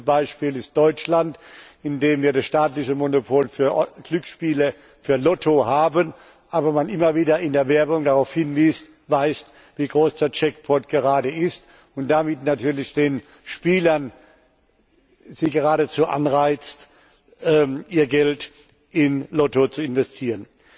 Das beste Beispiel ist Deutschland, in dem wir das staatliche Monopol für Glücksspiele und für Lotto haben, aber man immer wieder in der Werbung darauf hinweist, wie groß der Jackpot gerade ist, und damit natürlich die Spieler geradezu anreizt, ihr Geld in Lotto zu investieren.